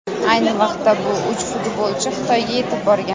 Ayni vaqtda bu uch futbolchi Xitoyga yetib borgan .